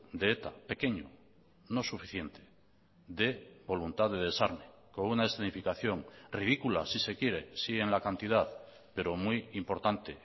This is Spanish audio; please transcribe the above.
de eta pequeño no suficiente de voluntad de desarme con una escenificación ridícula si se quiere sí en la cantidad pero muy importante